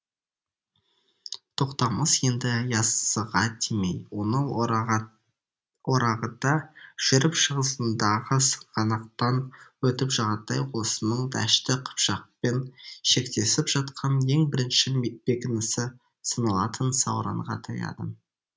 тоқтамыс енді яссыға тимей оны орағыта жүріп шығысындағы сығанақтан өтіп жағатай ұлысының дәшті қыпшақпен шектесіп жатқан ең бірінші бекінісі саналатын сауранға таяды